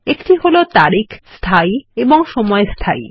একটি হল তারিখ স্থায়ী এবং সময় স্থায়ী